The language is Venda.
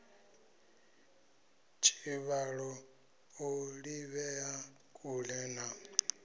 tshivhalo o ḓivhea kule na